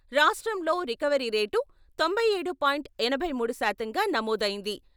రాష్ట్రంలో recovery rate తొంభై ఏడు పాయింట్ ఎనిమిది మూడు శాతంగా నమోదైంది.